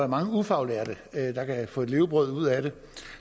mange ufaglærte kan få et levebrød ud af